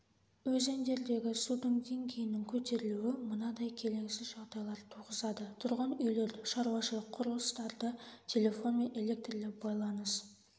өзендердегі судың деңгейінің көтерілуі мынадай келеңсіз жағдайлар туғызады тұрғын үйлерді шаруашылық құрылыстарды телефон мен электрлі байланыс